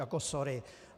Jako sorry.